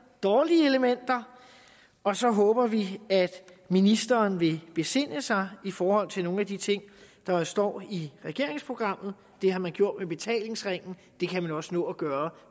og dårlige elementer og så håber vi at ministeren vil besinde sig i forhold til nogle af de ting der står i regeringsprogrammet det har man gjort med betalingsringen det kan man også nå at gøre